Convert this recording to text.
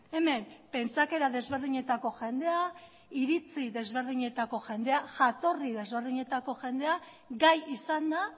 hemen pentsakera desberdinetako jendea iritzi desberdinetako jendea jatorri desberdinetako jendea gai izan da